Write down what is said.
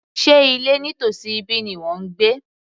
Sé ilé nítòsí ibí ni ìwọ ń gbé